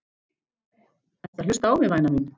Ertu að hlusta á mig, væna mín?